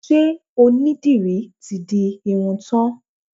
Ṣe onídìrí ti di irun tán?